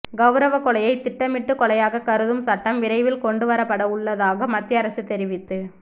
கௌரவக் கொலையை திட்டமிட்ட கொலையாக கருதும் சட்டம் விரைவில் கொண்டுவரப்படவுள்ளதாக மத்திய அரசு தெரிவித்து